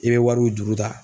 I bɛ wariw juru ta.